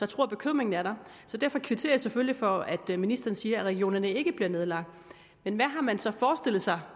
tror bekymringen er der jeg kvitterer selvfølgelig for at ministeren siger at regionerne ikke bliver nedlagt men hvad har man så forestillet sig